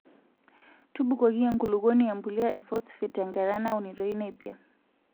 Tubukoki enkulukuoni empulita e fosfate tenkata naunitoi nepia.